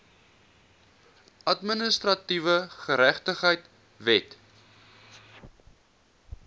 administratiewe geregtigheid wet